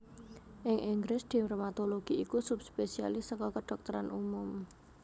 Ing Inggris dermatologi iku subspesialis saka kedhokteran umum